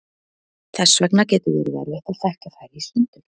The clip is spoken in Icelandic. þess vegna getur verið erfitt að þekkja þær í sundur